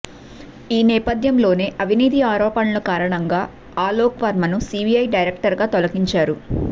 ఈ నేపథ్యంలోనే అవినీతి ఆరోపణల కారణంగా ఆలోక్ వర్మను సీబీఐ డైరెక్టర్గా తొలగించారు